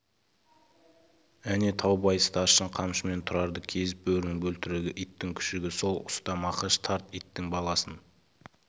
әне таубай старшын қамшымен тұрарды кезеп бөрінің бөлтірігі иттің күшігі сол ұста мақаш тарт иттің баласын